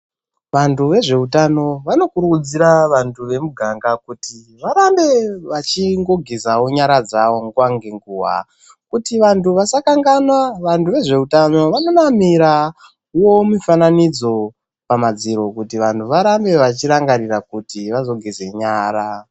Vantu vezveutano vanokurudzira vantu vemuganga kuti varambe vachingoge zavo nyara dzavo nguva ngenguva. Kuti vantu vasakanganwa, vantu vezveutano vanonamirawo mifananidzo pamadziro kuti vantu varambe vachirangarira kuti vazogeze nyara.